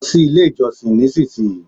lo si ile ijosin ni isinsiyii